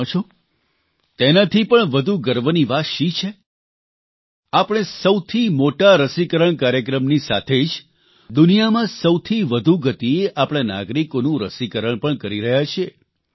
તમે જાણો છો તેનાથી પણ વધુ ગર્વની વાત શી છે આપણે સૌથી મોટા રસીકરણ કાર્યક્રમની સાથે જ દુનિયામાં સૌથી વધુ ગતિએ આપણા નાગરિકોનું રસીકરણ પણ કરી રહ્યા છીએ